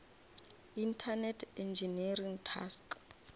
internet engineering task